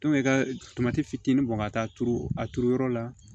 i ka tomati fitinin bɔn ka taa turu a turu yɔrɔ la